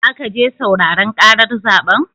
Zaka je sauraren ƙarar zaɓen?